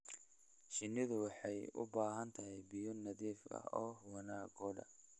Shinnidu waxay u baahan tahay biyo nadiif ah wanaaggooda.